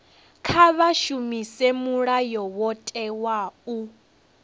kha vha shumise mulayotewa u